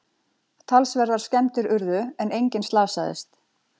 Talsverðar skemmdir urðu en enginn slasaðist